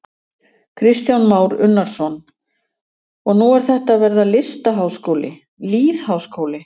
Kristján Már Unnarsson: Og nú er þetta að verða listaháskóli, lýðháskóli?